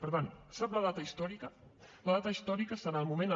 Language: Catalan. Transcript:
per tant sap la data històrica la data històrica serà el moment en